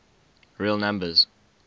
real numbers